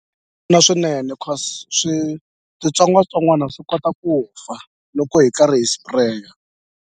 swinene cause switsongwatsongwana swi kota ku fa loko hi karhi hi spray-a.